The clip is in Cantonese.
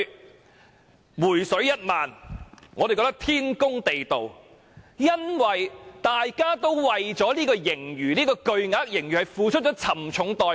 我們認為"回水 "1 萬元天公地道，因為大家為了這筆巨額盈餘付出了沉重代價。